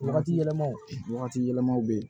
Wagati yɛlɛmaw wagati yɛlɛmaw bɛ yen